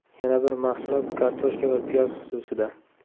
Yana bir mahsulot kartoshka va piyoz xususida.